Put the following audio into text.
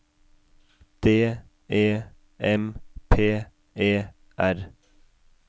D E M P E R